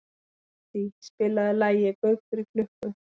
Kittý, spilaðu lagið „Gaukur í klukku“.